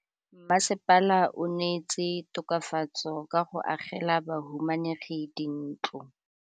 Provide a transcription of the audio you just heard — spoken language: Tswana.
Mmasepala o neetse tokafatsô ka go agela bahumanegi dintlo.